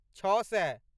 छओ सए